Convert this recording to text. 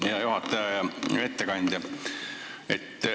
Hea juhataja!